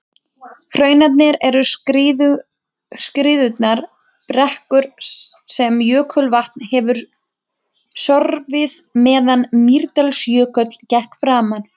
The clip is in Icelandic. Hrunarnir eru skriðurunnar brekkur sem jökulvatn hefur sorfið meðan Mýrdalsjökull gekk framar.